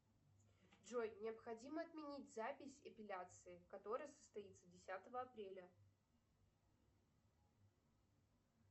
джой необходимо отменить запись эпиляции которая состоится десятого апреля